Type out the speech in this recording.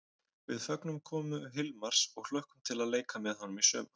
Við fögnum komu Hilmars og hlökkum til að leika með honum í sumar!